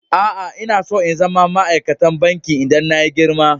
Aa, n'na tson zama ma'aikatan banki idan na yi girma.